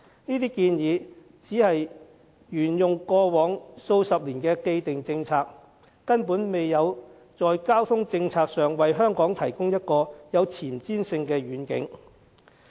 這些建議只是沿用過往數十年的既定政策，根本未有在交通政策上為香港提供一個具前瞻性的願景。